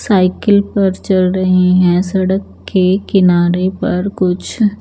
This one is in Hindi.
साइकिल पर चल रही है सड़क के किनारे पर कुछ--